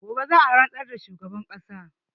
Gobe za a rantsar da shugaban ƙasa